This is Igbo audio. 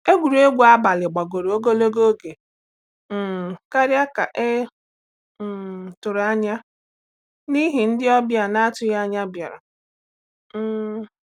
Egwuregwu abalị gbagoro ogologo oge um karịa ka e um tụrụ anya n’ihi ndị ọbịa na-atụghị anya bịara. um